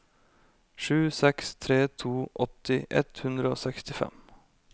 sju seks tre to åtti ett hundre og sekstifem